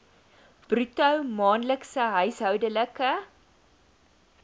bruto maandelikse huishoudelike